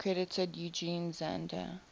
credited eugen zander